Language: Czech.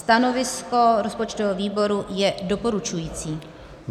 Stanovisko rozpočtového výboru je doporučující.